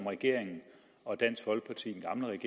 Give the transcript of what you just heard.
regering og dansk folkeparti